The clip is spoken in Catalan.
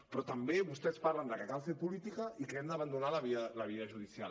però també vostès parlen que cal fer política i que hem d’abandonar la via judicial